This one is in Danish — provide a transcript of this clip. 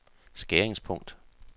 skæringspunkt